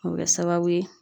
O bɛ kɛ sababu ye.